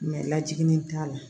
lajiginin t'a la